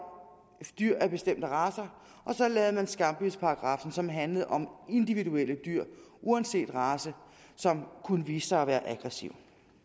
dyr af bestemte racer og så lavede man skambidsparagraffen som handlede om individuelle dyr uanset race som kunne vise sig at være aggressive